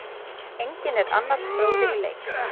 Enginn er annars bróðir í leik.